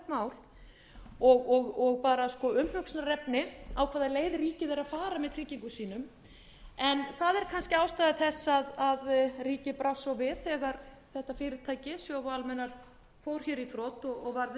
þetta er svo alvarlegt mál og umhugsunarefni á hvaða leið ríkið er að fara með tryggingum sínum en það er kannski ástæða þess að ríkið brást svo við þegar þetta fyrirtæki sjóvá almennar fór í þrot og varð uppvíst um refsiverða